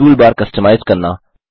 toolbar customise करना